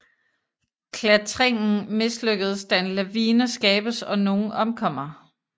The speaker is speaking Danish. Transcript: Klattringen mislykkeds da en lavine skabes og nogen omkommer